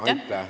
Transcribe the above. Aitäh!